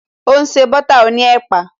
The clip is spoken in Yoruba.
O n se butter oní ẹ̀pà